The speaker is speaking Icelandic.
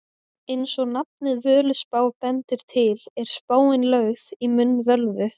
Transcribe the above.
Eins og nafnið Völuspá bendir til er spáin lögð í munn völvu.